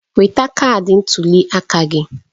Nweta kaadị ntuli aka gị